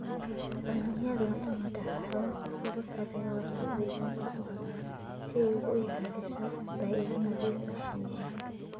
Cuncunyadu waa inay lahaadaan habab ay uga saaraan wasakhda iyo wasakhda si ay u ilaaliso bay'ad nadiif ah shinnida.